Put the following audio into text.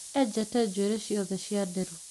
Eenjete njũĩrĩ ciothe cia nderu